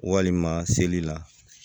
Walima seli la